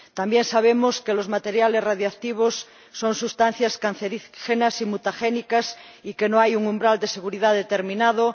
También sabemos que los materiales radiactivos son sustancias cancerígenas y mutagénicas y que no hay un umbral de seguridad determinado.